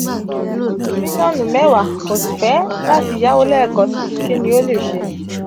o nilo milionu mewa ko si fẹ lati yawo lẹẹkansi; kí ni o lè ṣe?